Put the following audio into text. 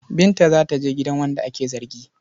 Binta za ta je gidan wanda ake zargi.